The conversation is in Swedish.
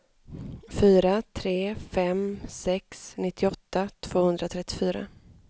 fyra tre fem sex nittioåtta tvåhundratrettiofyra